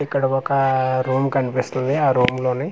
ఇక్కడ ఒక రూమ్ కనిపిస్తుంది ఆ రూమ్ లోని.